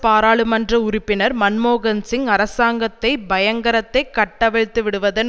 பாராளுமன்ற உறுப்பினர் மன்மோகன்சிங் அரசாங்கத்தை பயங்கரத்தைக் கட்டவிழ்த்துவிடுவதன்